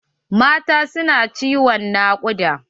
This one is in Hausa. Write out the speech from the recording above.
Mata su na ciwon nakuɗa.